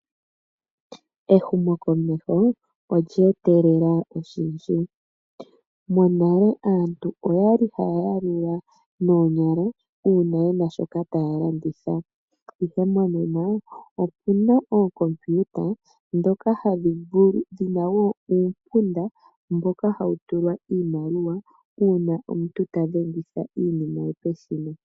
Ehumo komeho olya etelele oshindji monale aantu oyali haya ya lula noonyala uuna yena shoka taya landitha ihe monena opuna oocompiuta ndhoka hadhi vulu dhina woo uumpunda woku tulwa iimaliwa uuna omuntu ta dhengitha iinima ye peshina.